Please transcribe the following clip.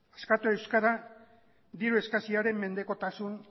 askatu euskara diru eskasiaren mendekotasun